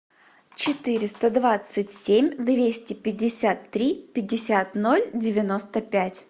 четыреста двадцать семь двести пятьдесят три пятьдесят ноль девяносто пять